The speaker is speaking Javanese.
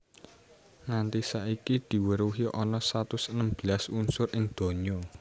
Nganti saiki diweruhi ana satus enem belas unsur ing donya